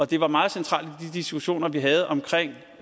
det var meget centralt i de diskussioner vi havde omkring